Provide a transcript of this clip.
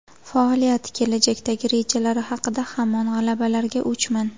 Faoliyati, kelajakdagi rejalari haqida Hamon g‘alabalarga o‘chman.